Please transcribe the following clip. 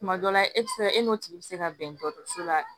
Tuma dɔ la e tɛ se ka e n'o tigi bɛ se ka bɛndodɔso la